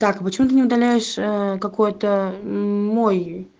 так почему ты не удаляешь какой-то мой